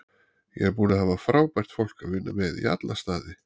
Ég er búinn að hafa frábært fólk að vinna með í alla staði.